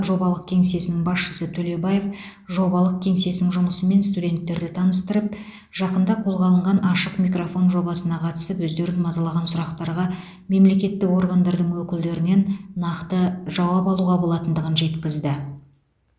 жобалық кеңсесінің басшысы төлебаев жобалық кеңсенің жұмысымен студенттерді таныстырып жақында қолға алынған ашық микрофон жобасына қатысып өздерін мазалаған сұрақтарға мемлекеттік органдардың өкілдерінен нақты жауап алуға болатындығын жеткізді